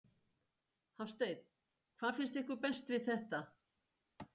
Hafsteinn: Hvað finnst ykkur best við þetta?